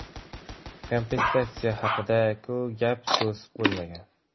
Kompensatsiya haqida-ku gap-so‘z bo‘lmagan.